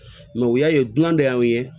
u y'a ye dunan de y'an ye